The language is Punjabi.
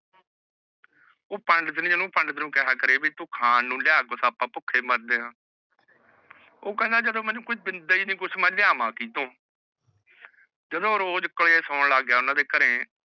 ਊਹ ਪਾਨ ਜਾਣੇ ਨੂ ਕਰੇ ਇ ਤੂ ਖਾਂ ਨੂ ਯਾ ਅਪ੍ਪਾ ਬੁਖੇ ਮਾਰਦੇ ਆਹ ਊਹ ਕਹੰਦਾ ਜਦੋ ਮੈਨੂ ਦੇਂਦਾ ਨਹੀ ਕੁਛ ਮੁ ਲਾਵਾ ਕਿਥੋ ਗਾਡੋ ਰੋਜ ਰੋਜ ਘਰੇ ਸਨ ਲਾਗ ਜਾਂਦਾ